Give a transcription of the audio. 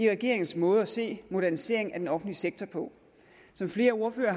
regeringens måde at se moderniseringen af den offentlige sektor på som flere ordførere